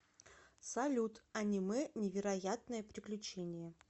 салют аниме невероятное приключение